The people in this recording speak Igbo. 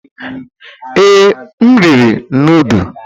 Ee, m riri nudu.